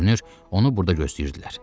Görünür, onu burda gözləyirdilər.